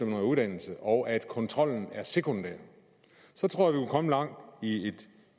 noget uddannelse og at kontrollen er sekundær så tror jeg komme langt i